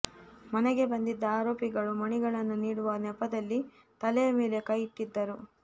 ಮನೆಗೆ ಬಂದಿದ್ದ ಆರೋಪಿಗಳು ಮಣಿಗಳನ್ನು ನೀಡುವ ನೆಪದಲ್ಲಿ ತಲೆಯ ಮೇಲೆ ಕೈಯಿಟ್ಟಿದ್ದರು